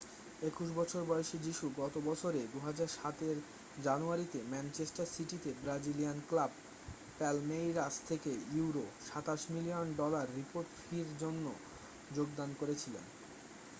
21 বছর বয়সী যীশু গত বছরে 2017 এর জানুয়ারিতে ম্যানচেস্টার সিটিতে ব্রাজিলিয়ান ক্লাব পালমেইরাস থেকে £ 27 মিলিয়ন ডলার রিপোর্ট ফির জন্য যোগদান করেছিলেন।